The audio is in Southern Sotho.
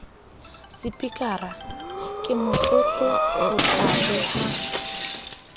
sepikara ke motlotlo ho tlaleha